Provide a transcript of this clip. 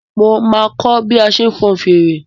Máa kọ́ bí a ṣe ń fọn fèrè.